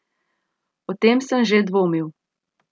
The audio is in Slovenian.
O tem sem že dvomil.